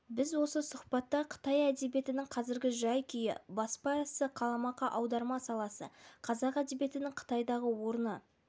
біз осы сұхбатта қытай әдебиетінің қазіргі жай-күйі баспа ісі қаламақы аударма саласы қазақ әдебиетінің қытайдағы орны